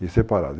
E separados.